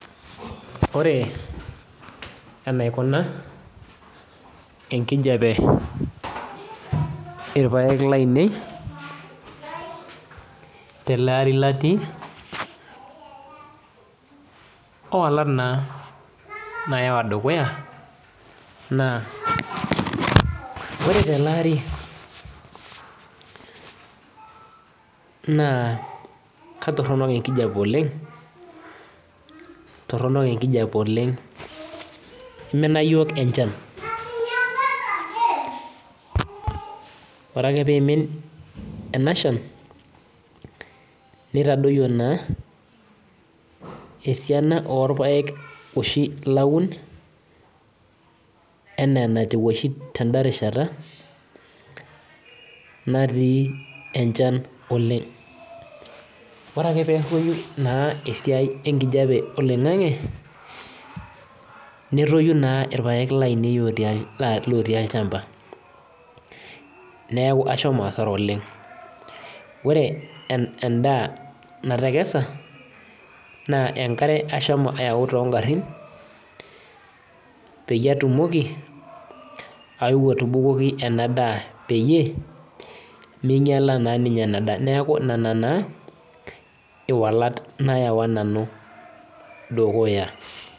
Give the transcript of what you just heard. Ore enaikunabenkijape irpaek lainei telari latii ororuat nayawa dukuya na ore teleari na katoronok enkipa oleng imina yiook enchanore ake pimin enashan nitadoyo esiana orpaek oshi laun ana enetiu tenarishata natii enchan oleng ore ake peruoyu esiai enkijape oloingangi netoyu na irpaek lotii olchamba neaku ashomobasara oleng ore endaa natekesa na enkarebashomo ayau tongarin patumoki ashomo atubukoki peminyala enadaa neaku nona na walat nayawa nanu dukuya.